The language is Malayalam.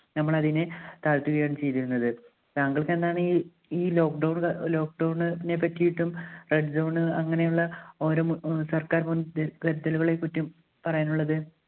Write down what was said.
ഞമ്മളതിനെ താഴ്ത്തുകളായാണ് ചെയ്തിരുന്നത്. താങ്കൾക്കെന്താണ് ഈ ഈ lockdown ക lockdown നെ പറ്റിയിട്ടും red zone അങ്ങനെയുള്ള ഓരോ ഉം സർക്കാർ മുൻ ദ് കരുതലുകളെ പറ്റി പറയാനുള്ളത്?